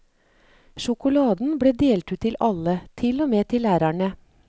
Sjokoladen ble delt ut til alle, til og med til lærerne.